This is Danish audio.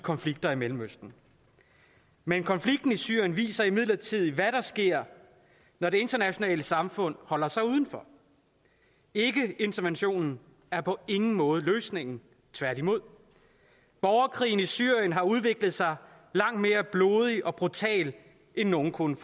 konflikter i mellemøsten men konflikten i syrien viser imidlertid hvad der sker når det internationale samfund holder sig udenfor ikkeinterventionen er på ingen måde løsningen tværtimod borgerkrigen i syrien har udviklet sig langt mere blodigt og brutalt end nogen kunne